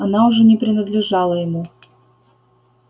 она уже не принадлежала ему